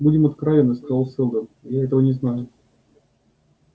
будем откровенны сказал сэлдон я этого не знаю